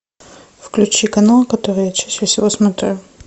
включи канал который я чаще всего смотрю